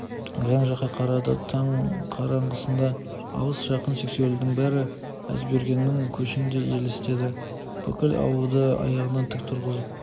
жан-жаққа қарады таң қараңғысында алыс жақын сексеуілдің бәрі әзбергеннің көшіндей елестеді бүкіл ауылды аяғынан тік тұрғызып